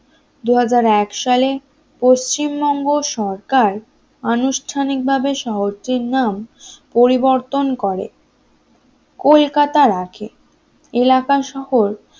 দুই হাজার এক সালে পশ্চিমবঙ্গ সরকার আনুষ্ঠানিক ভাবে শহরটির নাম পরিবর্তন করে কলকাতা রাখে এলাকাসহ